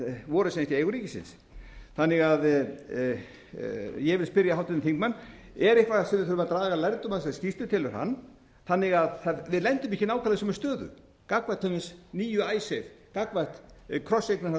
voru sem sagt í eigu ríkisins ég vil því spyrja háttvirtan þingmann er eitthvað sem við þurfum að draga lærdóm af í þessari skýrslu telur hann þannig að við lendum ekki nákvæmlega í sömu stöðu gagnvart til dæmis nýju icesave gagnvart krosseigna haldi og raðeigna haldi